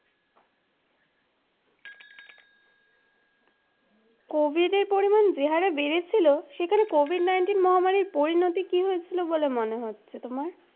COVID এর পরিমাণ যে হারে বেরেছিলো সেখানে COVID-19 মহামারীর পরিনতি কি হয়েছিলো বলে মনে হচ্ছে তোমার?